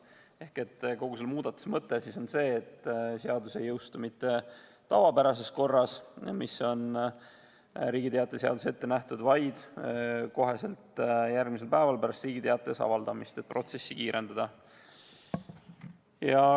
Ehk kogu selle muudatuse mõte on selles, et seadus ei jõustuks mitte tavapärases korras, mis on Riigi Teataja seaduses ette nähtud, vaid kohe järgmisel päeval pärast Riigi Teatajas avaldamist, et protsessi kiirendada.